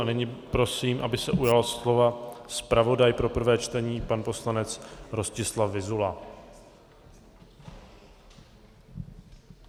A nyní prosím, aby se ujal slova zpravodaj pro prvé čtení pan poslanec Rostislav Vyzula.